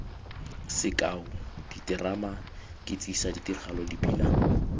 sekao diterama ketsisa tiragalo dipina